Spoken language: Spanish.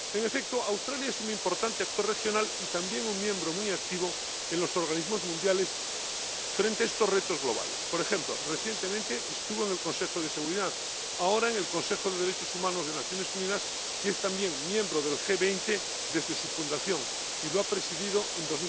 En efecto, Australia es un importante actor regional y también un miembro muy activo en los organismos mundiales frente a estos retos globales. Por ejemplo, recientemente estuvo en el Consejo de Seguridad, ahora en el Consejo de Derechos Humanos de las Naciones Unidas, y es también miembro del G20 desde su fundación y lo ha presidido